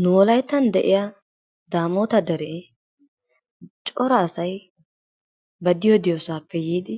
Nu wolayttan de'iya Daamoota deree cora asay ba diyo diyosaappe yiidi